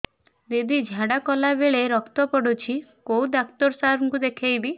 ଦିଦି ଝାଡ଼ା କଲା ବେଳେ ରକ୍ତ ପଡୁଛି କଉଁ ଡକ୍ଟର ସାର କୁ ଦଖାଇବି